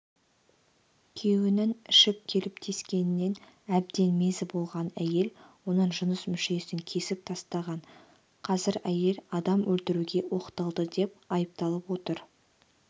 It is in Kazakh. күйеуінің ішіп келіп тиіскенінен әбден мезі болған әйел оның жыныс мүшесін кесіп тастаған қазір әйел адам өлтіруге оқталды деп айыпталып отыр